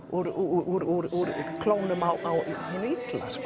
úr klónum á hinu illa